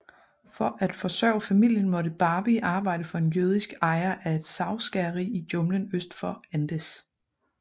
For at forsørge familien måtte Barbie arbejde for en jødisk ejer af et savskæreri i junglen øst for Andes